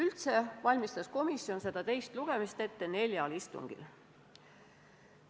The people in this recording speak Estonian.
Kokku valmistas komisjon teist lugemist ette neljal istungil.